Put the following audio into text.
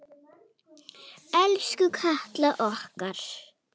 Elsku Katla okkar.